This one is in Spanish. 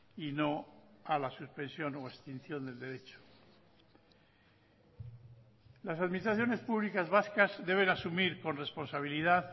y no a la suspensión o extinción del derecho las administraciones públicas vascas deben asumir con responsabilidad